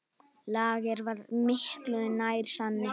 Lager var miklu nær sanni.